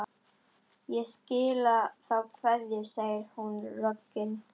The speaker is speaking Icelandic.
Ég skila þá kveðju, segir hún roggin.